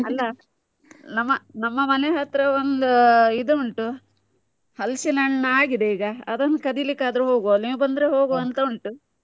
ಅಲ್ಲ ನಮ್ಮ, ನಮ್ಮ ಮನೆ ಹತ್ರ ಒಂದು ಇದು ಉಂಟು. ಹಲಸಿನ ಹಣ್ಣು ಆಗಿದೆ ಈಗ, ಅದನ್ನು ಕದಿಲಿಕ್ ಆದ್ರೂ ಹೋಗ್ವ. ನೀವು ಬಂದ್ರೆ ಹೋಗ್ವ ಅಂತ ಉಂಟ.